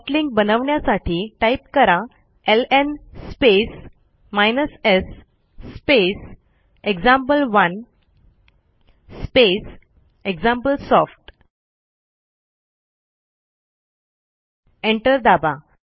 soft link बनवण्यासाठी type करा LN space s space एक्झाम्पल1 स्पेस एक्झाम्पलसॉफ्ट एंटर दाबा